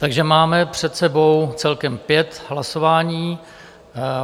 Takže máme před sebou celkem pět hlasování.